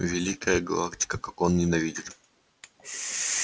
великая галактика как он ненавидит меня